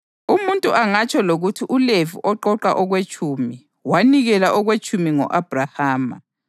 Umuntu angatsho lokuthi uLevi oqoqa okwetshumi, wanikela okwetshumi ngo-Abhrahama